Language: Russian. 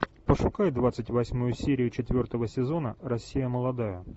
пошукай двадцать восьмую серию четвертого сезона россия молодая